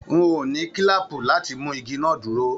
N o ní kílàápú láti mú igi náà dúró.